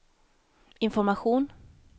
information